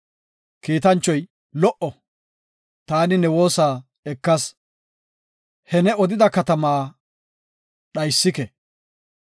Kiitanchoy, “Lo77o! Taani ne woosa ekas; he ne odida katamaa dhaysike.